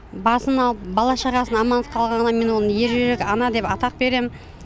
басын алып бала шағасын аман алып қалғанына мен оған ержүрек ана деген атақ беремін